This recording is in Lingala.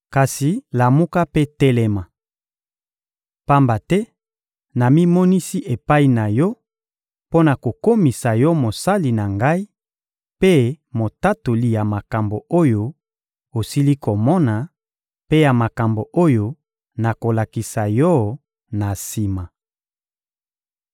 Kasi lamuka mpe telema! Pamba te namimonisi epai na yo mpo na kokomisa yo mosali na Ngai mpe motatoli ya makambo oyo osili komona, mpe ya makambo oyo nakolakisa yo na sima.